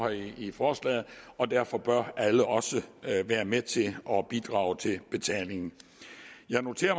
i forslaget og derfor bør alle også være med til at bidrage til betalingen jeg noterer